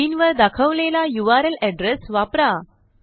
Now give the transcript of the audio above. स्क्रीनवर दाखवलेला URL address वापरा